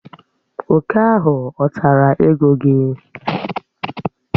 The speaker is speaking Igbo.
Òkè ahụ ọ̀ tara ego gị?